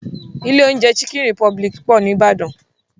Ilé oúnjẹ chicken republic pọ̀ ní Ìbàdàn.